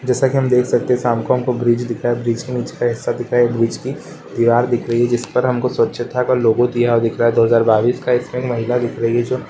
जैसा कि हम देख सकते हैं शाम को हमको ब्रिज दिख रहा है ब्रिज के नीचे का हिस्सा दिखा ब्रिज कि दीवार दिख रही है जिस पर हमको स्वछता का लोगो दिया हुआ दिख रहा दो हजार बइस का इसमें एक महिला दिख रही है जो --